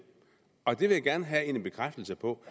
og det vil jeg gerne have en bekræftelse på